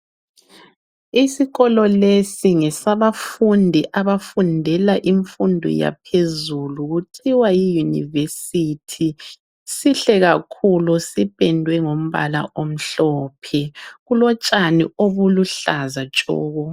Isikolo lesi ngesabafundi abafundela imfundo yaphezulu kuthiwa yiyunivesithi, sihle kakhulu sipendwe ngombala omhlophe kulotshani obuluhlaza tshoko.